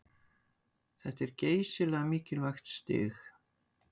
Þetta er geysilega mikilvægt stig